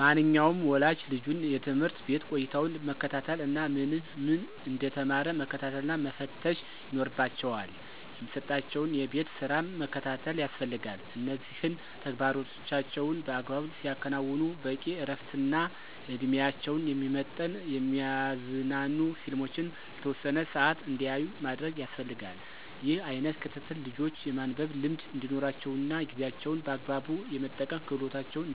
ማንኛውም ወላጅ ልጁን የትምህርት ቤት ቆይታውን መከታተል እና ምን ምን እንደተማረ መከታተልና መፈተሽ ይኖርባቸዋል። የሚሰጣቸውን የቤት ስራም መከታተል ያስፈልጋል እነዚህን ተግባሮቻቸውን በአግባቡ ሲያከናዉኑ በቂ እረፍትና እድሜያቸውን የሚመጥን የሚያዝናኑ ፊልሞችን ለተወሰነ ሰአት እንዲያዩ ማድረግ ያስፈልጋል። ይህ አይነት ክትትል ልጆች የማንበብ ልምድ እንዲኖራቸውና ጊዜያቸውን በአግባቡ የመጠቀም ክህሎታቸውን